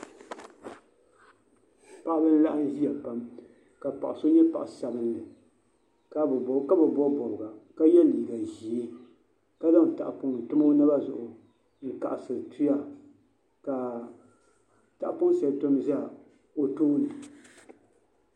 Paɣiba n. laɣim. ziya pam , ka paɣisɔ nyɛ paɣi sabinli ka bi bɔbi bɔbiga ka ye. liiga zɛɛ ka zaŋ tahi pɔŋ n tam o naba zuɣu n kaɣisiri tuya ka tahipɔn. shɛli tom zɛ otooni.